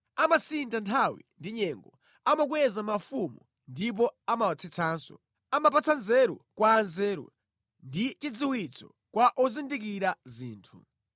Amasintha nthawi ndi nyengo; amakweza mafumu ndipo amawatsitsanso. Amapatsa nzeru kwa anzeru ndi chidziwitso kwa ozindikira zinthu.